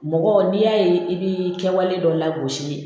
Mɔgɔ n'i y'a ye i bɛ kɛwale dɔ lagosi